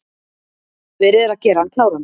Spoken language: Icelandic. Verið er að gera hann kláran